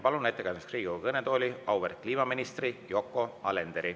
Palun ettekandeks Riigikogu kõnetooli auväärt kliimaministri Yoko Alenderi.